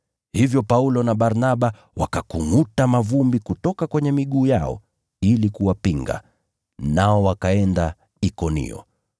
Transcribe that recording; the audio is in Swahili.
Hivyo Paulo na Barnaba wakakungʼuta mavumbi ya miguu yao ili kuwapinga, nao wakaenda Ikonio.